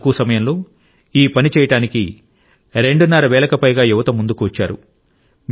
చాలా తక్కువ సమయంలో ఈ పని చేయడానికి రెండున్నర వేలకు పైగా యువత ముందుకు వచ్చారు